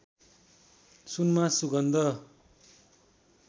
सुनमा सुगन्ध